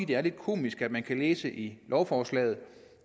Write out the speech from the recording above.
det er lidt komisk at man kan læse i lovforslaget